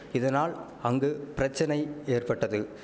இதனால் அங்கு பிரச்சனை ஏற்பட்டது